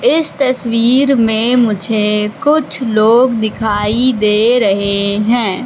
इस तस्वीर में मुझे कुछ लोग दिखाई दे रहे हैं।